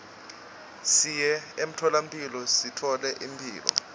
siye emtfolamphilo sithole imphilo